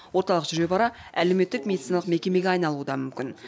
орталық жүре бара әлеуметтік медициналық мекемеге айналуы да мүмкін